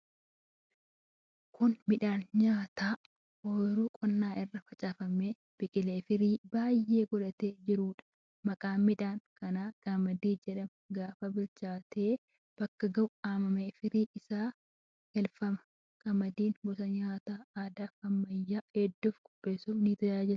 Kun midhaan nyaataa oyiruu qonnaa irra facaafamee, biqilee, firii baay'ee godhatee jiruudha. Maqaan midhaan kanaa qamadii jedhama. Gaafa bilchaatee bakka ga'u haamamee, firiin isaa galfama. Qamadiin gosa nyaataa aadaafi ammayyaa hedduu qopheessuuf ni tajaajila.